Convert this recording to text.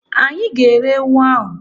Anyị ga- ere ewu ahụ.